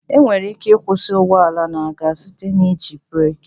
Enwere ike ịkwụsị ụgbọala na-aga site n'iji breekị